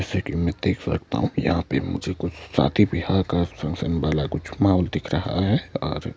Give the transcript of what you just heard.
जैसा कि मैं देख सकता हूं कि मुझे यहां पे मुझे कुछ शादी बियाह का सनसन वाला कुछ माहौल दिख रहा है और--